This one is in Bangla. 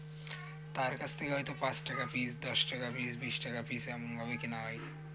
তার কাছ থেকে হয়তো পাঁচ টাকা piece দশ টাকা piece বিশ টাকা piece এমনভাবে কেনা হয়